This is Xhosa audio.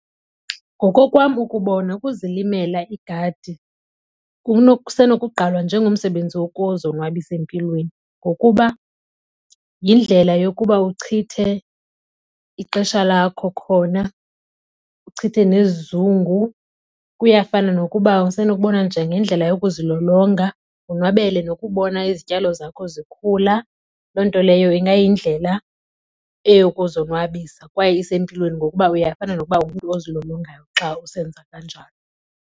Ngokokwam ukubona ukuzilimela igadi kusenokugqalwa njengomsebenzi wokuzonwabisa empilweni ngokuba yindlela yokuba uchithe ixesha lakho khona, uchithe nesizungu. Kuyafana nokuba usenokubona njengendlela yokuzilolonga wonwabele nokubona izityalo zakho zikhula. Loo nto leyo ingayindlela eyokuzonwabisa kwaye isempilweni ngokuba uyafana nokuba ungumntu ozilolongayo xa usenza kanjalo.